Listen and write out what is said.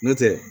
N'o tɛ